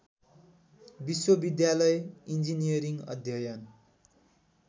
विश्वविद्यालय इन्जिरियरिङ अध्ययन